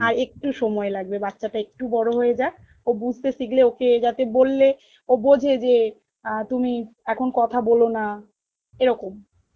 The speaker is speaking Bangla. আরেকটু সময় লাগবে বাচ্চাটা একটু বড় হয়ে যাক ও বুঝতে শিখলে ওকে যাতে বললে ও বোঝে যে অ্যাঁ তুমি এখন কথা বলোনা এরকম